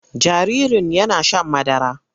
Jaririn yana shan madara.